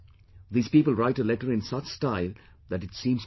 These people write a letter in such style that it seems perfect